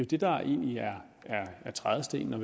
det der vel egentlig er trædestenen og